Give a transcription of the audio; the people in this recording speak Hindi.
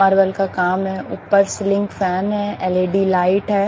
मार्बल का काम है ऊपर सीलिंग फैन है एल_ई_डी लाइट है।